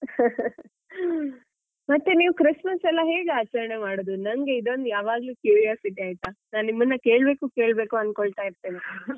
ಮತ್ತೆ ನೀವ್ Christmas ಎಲ್ಲಾ ಹೇಗೆ ಆಚರಣೆ ಮಾಡೋದು ನಂಗೆ ಇದೊಂದು ಯಾವಾಗ್ಲೂ curiosity ಆಯ್ತಾ ನಾನು ನಿಮ್ಮನ್ನ ಕೇಳ್ಬೇಕು ಕೇಳ್ಬೇಕು ಅನ್ಕೊಳ್ತ ಇರ್ತೇನೆ .